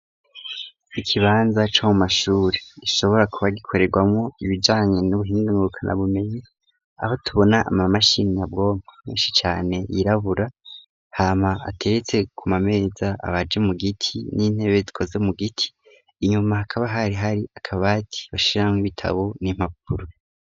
Ikibanza co mu mashuri gishobora kuba gikorerwamwo ibijanye n'ubuhinga ngurukana bumenyi, aho tubona ama mashini nyabwonko menshi cane yirabura hama hateretse ku mameza abaje mu giti n'intebe zikoze mu giti, inyuma hakaba hari hari akabati bashiramwo ibitabo n'impapuro.